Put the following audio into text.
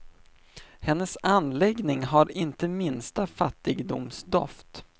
Hennes anläggning har inte minsta fattigdomsdoft.